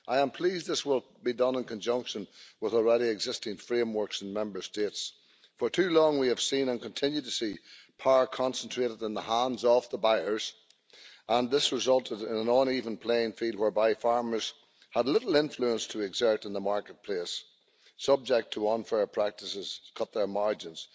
I am pleased this will be done in conjunction with already existing frameworks in Member States. For too long, we have seen and continue to see power concentrated in the hands of the buyers. This has resulted in an uneven playing field whereby farmers have had little influence to exert in the marketplace and been subject to unfair practices to cut their margins